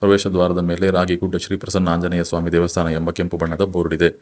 ಪ್ರವೇಶ ದ್ವಾರದ ಮೇಲೆ ರಾಗಿಗುಡ್ಡ ಶ್ರೀ ಪ್ರಸನ್ನ ಆಂಜನೇಯ ಸ್ವಾಮಿ ದೇವಸ್ಥಾನ ಎಂಬ ಕೆಂಪು ಬಣ್ಣದ ಬೋರ್ಡ್ ಇದೆ.